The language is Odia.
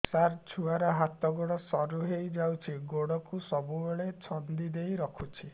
ସାର ଛୁଆର ହାତ ଗୋଡ ସରୁ ହେଇ ଯାଉଛି ଗୋଡ କୁ ସବୁବେଳେ ଛନ୍ଦିଦେଇ ରଖୁଛି